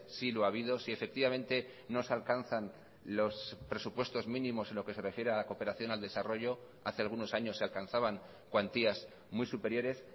sí lo ha habido si efectivamente no se alcanzan los presupuestos mínimos en lo que se refiere a la cooperación al desarrollo hace algunos años se alcanzaban cuantías muy superiores